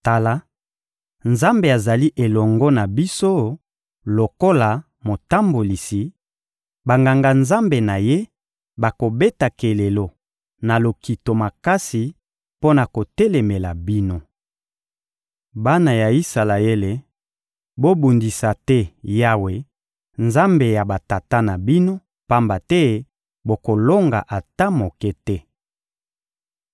Tala, Nzambe azali elongo na biso lokola Motambolisi; Banganga-Nzambe na Ye bakobeta kelelo na lokito makasi mpo na kotelemela bino. Bana ya Isalaele, bobundisa te Yawe, Nzambe ya batata na bino, pamba te bokolonga ata moke te.»